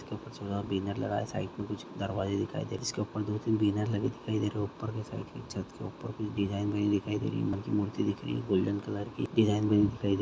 इसके ऊपर कुछ बैनर लगा है साइड मे कुछ दरवाजे दिखाई दे रहे है जिसके ऊपर दो तीन बैनर लगे दिखाई दे रहे है ऊपर में चढ़ --